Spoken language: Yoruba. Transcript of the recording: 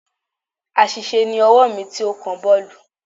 Àṣìṣe ni ọwọ́ mi tí ó kan boolu.